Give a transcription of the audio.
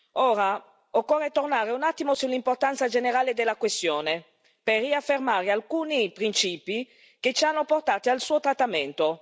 Ora occorre tornare un attimo sull'importanza generale della questione, per riaffermare alcuni principi che ci hanno portato al suo trattamento.